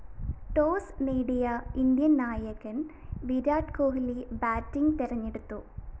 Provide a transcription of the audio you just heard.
toss നേടിയ Indian‍ നായകന്‍ Virat Kohli batting തെരഞ്ഞെടുത്തു